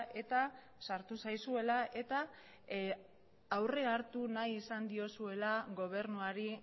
eta sartu zaizuela eta aurre hartu nahi izan diozuela gobernuari